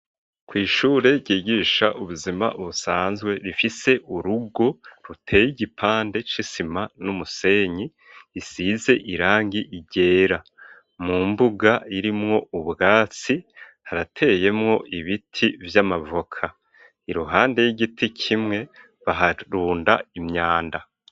Kw' ishure ryigisha ubuzima, busanzwe rifise urugo ruteye igipande c'isima n'umusenyi ,isize irangi ryera ,mu mbuga irimwo ubwatsi harateyemwo ibiti vy'amavoka ,iruhande y'igiti kimwe baharunda imyanda.